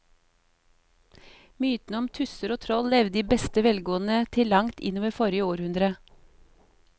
Mytene om tusser og troll levde i beste velgående til langt inn i forrige århundre.